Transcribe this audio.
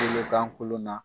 Kolokan kolon na